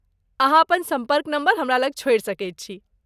अहाँ अपन सम्पर्क नंबर हमरा लग छोड़ि सकैत छी।